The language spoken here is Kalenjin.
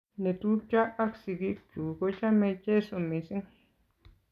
netupcho ak singik chuk ko chame cheso mising